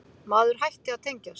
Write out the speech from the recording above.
Maður hætti að tengjast.